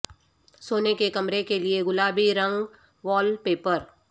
سونے کے کمرے کے لئے گلابی رنگ وال پیپر